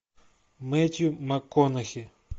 мэтью макконахи